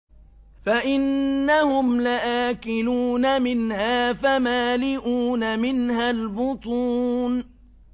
فَإِنَّهُمْ لَآكِلُونَ مِنْهَا فَمَالِئُونَ مِنْهَا الْبُطُونَ